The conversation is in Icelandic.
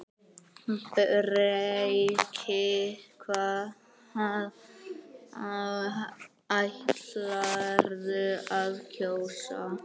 Breki: Hvað ætlarðu að kjósa?